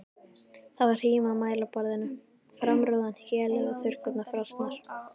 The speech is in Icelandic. Það var hrím á mælaborðinu, framrúðan héluð og þurrkurnar frosnar.